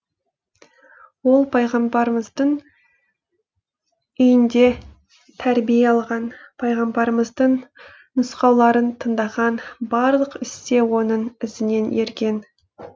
ол пайғамбарымыздың үйінде тәрбие алған пайғамбарымыздың нұсқауларын тындаған барлық істе оның ізінен ерген